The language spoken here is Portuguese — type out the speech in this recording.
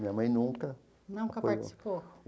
Minha mãe nunca... Nunca participou?